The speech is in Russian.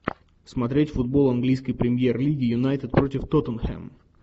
смотреть футбол английской премьер лиги юнайтед против тоттенхэм